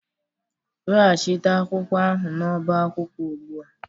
Weghachite akwụkwọ ahụ n'ọba akwụkwọ ugbu a